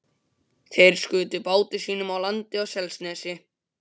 Þeir skutu báti sínum á land á Selnesi.